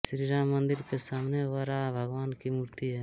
श्रीराम मन्दिर के सामने वराह भगवान की मूर्ति है